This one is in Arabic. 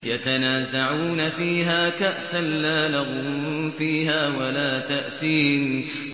يَتَنَازَعُونَ فِيهَا كَأْسًا لَّا لَغْوٌ فِيهَا وَلَا تَأْثِيمٌ